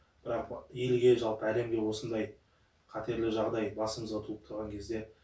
бірақ елге жалпы әлемге осындай қатерлі жағдай басымызға туып тұрған кезде